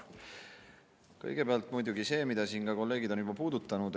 Kõigepealt muidugi see, mida ka kolleegid on siin juba puudutanud.